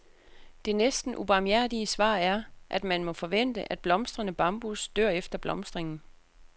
Det næsten ubarmhjertige svar er, at man må forvente, at blomstrende bambus dør efter blomstringen.